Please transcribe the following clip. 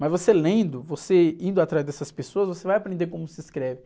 Mas você lendo, você indo atrás dessas pessoas, você vai aprender como se escreve.